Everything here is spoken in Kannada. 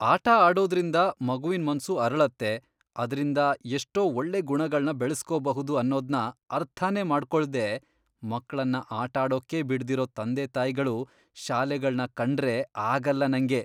ಆಟ ಆಡೋದ್ರಿಂದ ಮಗುವಿನ್ ಮನ್ಸು ಅರಳತ್ತೆ, ಅದ್ರಿಂದ ಎಷ್ಟೋ ಒಳ್ಳೆ ಗುಣಗಳ್ನ ಬೆಳೆಸ್ಕೋಬಹುದು ಅನ್ನೋದ್ನ ಅರ್ಥನೇ ಮಾಡ್ಕೊಳ್ದೇ ಮಕ್ಳನ್ನ ಆಟಾಡೋಕ್ಕೇ ಬಿಡ್ದಿರೋ ತಂದೆತಾಯ್ಗಳು, ಶಾಲೆಗಳ್ನ ಕಂಡ್ರೇ ಆಗಲ್ಲ ನಂಗೆ.